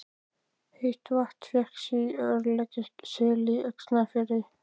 Heitt vatn fékkst í Ærlækjarseli í Öxarfirði.